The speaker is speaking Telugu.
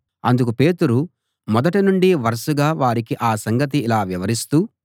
అందుకు పేతురు మొదట నుండి వరుసగా వారికి ఆ సంగతి ఇలా వివరిస్తూ